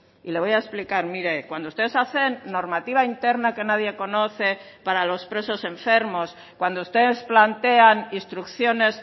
y le voy a explicar mire cuando ustedes hacen normativa interna que nadie conoce para los presos enfermos cuando ustedes plantean instrucciones